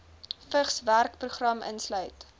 vigs werkplekprogram sluit